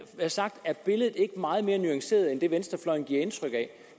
sagt at billedet er meget mere nuanceret end det venstrefløjen giver indtryk af